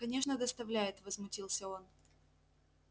конечно доставляет возмутился он